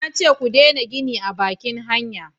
na ce ku dena gini a bakin hanya!